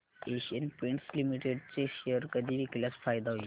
Asian Paints Limited चे share कधी विकल्यास फायदा होईल